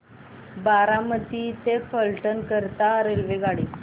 बारामती ते फलटण करीता रेल्वेगाडी